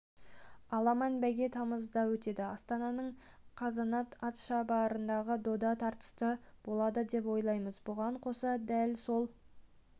аламан бәйге тамызда өтеді астананың қазанат атшабарындағы дода тартысты болады деп ойлаймыз бұған қоса дәл сол